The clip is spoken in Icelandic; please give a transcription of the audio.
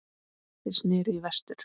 Þeir sneru í vestur.